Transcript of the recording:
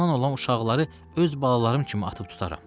Ondan olan uşaqları öz balalarım kimi atıb tutaram.